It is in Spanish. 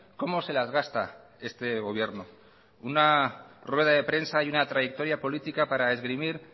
cómo se las gasta este gobierno una rueda de prensa y una trayectoria política para esgrimir